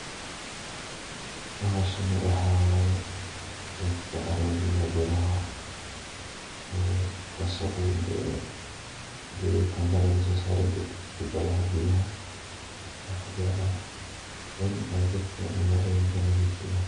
Hooshan waxawaye ee dadaka caruur iyo beeraha ee wasaqoyinga ee keeyoh company Nika so saaroh chupatha beeyaha waxan kujeclahay in ay dadaka magalonyinka nathrfiyaan.